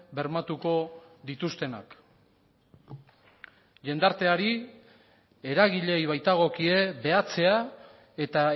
bermatuko dituztenak jendarteari eragileei baitagokie behatzea eta